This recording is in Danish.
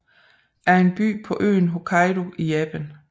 er en by på øen Hokkaido i Japan